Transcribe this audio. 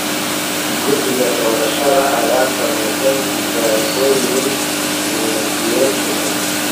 Guddiga doorashada ayaa sameeyay tijaabooyin tignoolajiyada cusub.